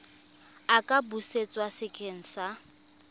a ka busetswa sekeng sa